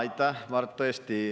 Aitäh, hea kolleeg!